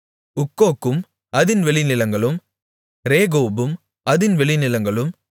உக்கோக்கும் அதின் வெளிநிலங்களும் ரேகோபும் அதின் வெளிநிலங்களும்